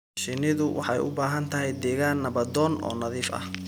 Shinnidu waxay u baahan tahay deegaan nabdoon oo nadiif ah.